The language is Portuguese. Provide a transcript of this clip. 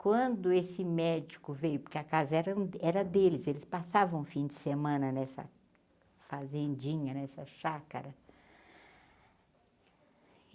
Quando esse médico veio, porque a casa eram era deles, eles passavam fim de semana nessa fazendinha, nessa chácara.